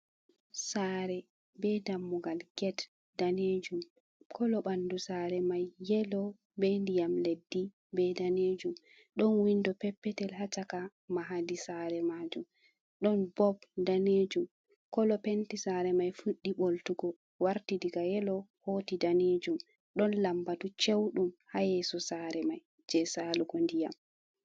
Sare be dammugal get danejum kolo bandu sare mai yelo, be ndiyam leddi be danejum don windo peppetel hacaka mahadi sare majum don bob danejum kolo penti sare mai fuddi boltugo warti daga yelo hoti danejum don lambatu ceudum ha yeso sare mai je salugo ndiyam.